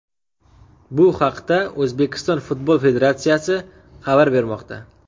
Bu haqda O‘zbekiston Futbol federatsiyasi xabar bermoqda .